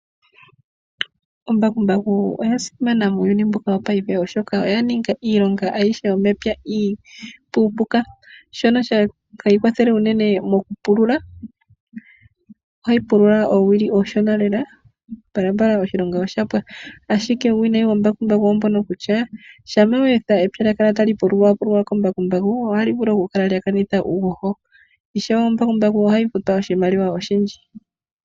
Ombakumbaku oya simana muuyuni mbuka wopaife, oshoka oya ninga iilonga ayihe yomepya iipuupuka shono hayi kwathele unene mokupulula, ohayi pulula oowili oonshona lela, mbalambala oshilonga oshapwa, ashike uuwinayi woombakumbaku oombuno kutyaa shampa weetha epya lyakala tali pululwapululwa koombakumbaaku ohali vulu okukanitha uuhoho ishewe oombakumbaku ohayi futwa oshimaliwa oshindji.